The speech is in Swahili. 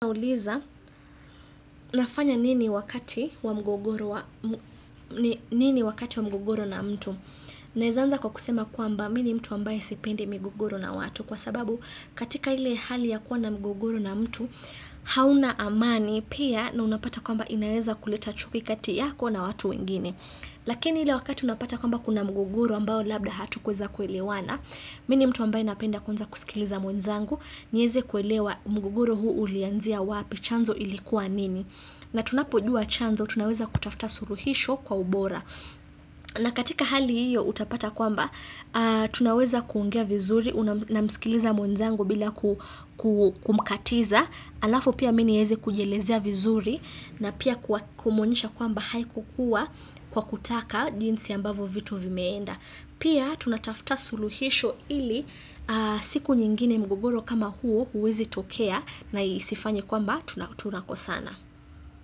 Nauliza, nafanya nini wakati wa mgogoro na mtu. Naeza anza kwa kusema kwamba, mini mtu ambaye sipende mgogoro na watu. Kwa sababu, katika ile hali ya kuwa na mgogoro na mtu, hauna amani pia na unapata kwamba inaeza kuleta chuki kati yako na watu wengine. Lakini ile wakati unapata kwamba kuna mgogoro ambao labda hatukuweza kuelewana, mimi ni mtu ambaye napenda kwanza kusikiliza mwenzangu, nieze kuelewa mgogoro huu ulianzia wapi chanzo ilikuwa nini na tunapojua chanzo, tunaweza kutafta suluhisho kwa ubora na katika hali hiyo, utapata kwamba Tunaweza kuongia vizuri, namsikiliza mwenzangu bila kumkatiza alafu pia mini nieze kujelezia vizuri na pia kumuonyesha kwamba haikukua kwa kutaka jinsi ambavyo vitu vimeenda. Pia tunatafta suluhisho ili siku nyingine mgogoro kama huo huwezi tokea na isifanye kwamba tunakosana.